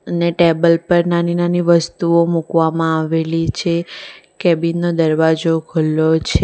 ને ટેબલ પર નાની નાની વસ્તુઓ મૂકવામાં આવેલી છે કેબીન નો દરવાજો ખુલ્લો છે.